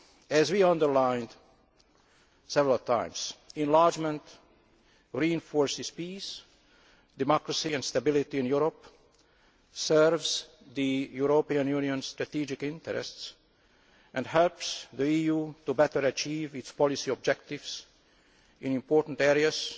As we have underlined several times, enlargement reinforces peace, democracy and stability in Europe, serves the European Union's strategic interests and helps the EU to better achieve its policy objectives in important areas